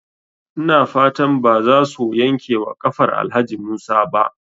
Ina fatan bazaso yankewa kafar Alhaji Musa ba?